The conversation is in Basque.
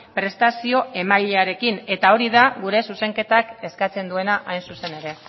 prestazio emailearekin eta hori da gure zuzenketak eskatzen duena hain zuzen ere